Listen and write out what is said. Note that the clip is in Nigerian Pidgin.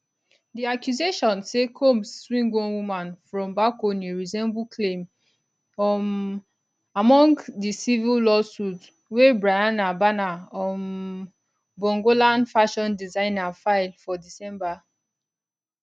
di accusation say combs swing one woman from balcony resemble claim um among dicivil lawsuitwey bryana bana um bongolan fashion designer file for december